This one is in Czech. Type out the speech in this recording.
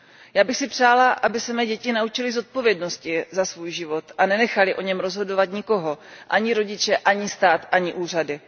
Já bych si přála, aby se mé děti naučily zodpovědnosti za svůj život a nenechaly o něm rozhodovat nikoho, ani rodiče, ani stát, ani úřady.